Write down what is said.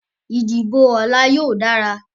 Ìdìbò ọ̀la yóò dára